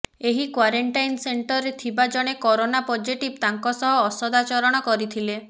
ଏହି କ୍ବାରେଣ୍ଟାଇନ୍ ସେଣ୍ଟରରେ ଥିବା ଜଣେ କରୋନା ପଜିଟିଭ୍ ତାଙ୍କ ସହ ଅସଦାଚରଣ କରିଥିଲେ